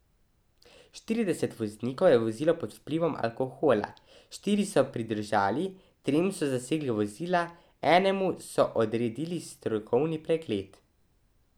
Štirideset voznikov je vozilo pod vplivom alkohola, štiri so pridržali, trem so zasegli vozila, enemu so odredili strokovni pregled.